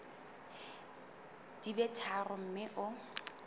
di be tharo mme o